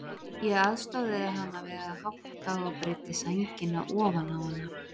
Ég aðstoðaði hana við að hátta og breiddi sængina ofan á hana.